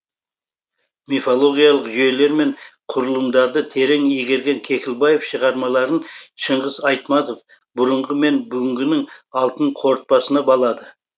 мифологиялық жүйелер мен құрылымдарды терең игерген кекілбаев шығармаларын шыңғыс айтматов бұрынғы мен бүгінгінің алтын қорытпасына балады